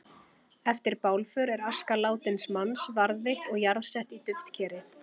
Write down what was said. Eftir bálför er aska látins manns varðveitt og jarðsett í duftkeri.